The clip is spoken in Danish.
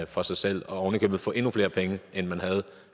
for sig selv og ovenikøbet få endnu flere penge end man